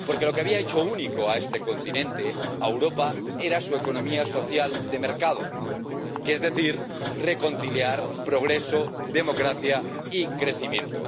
Porque lo que había hecho único a este continente, a Europa, era su economía social de mercado, es decir, reconciliar progreso, democracia y crecimiento.